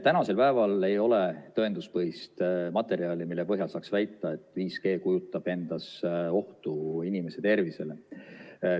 Tänasel päeval ei ole tõenduspõhist materjali, mille põhjal saaks väita, et 5G kujutab endast ohtu inimese tervisele.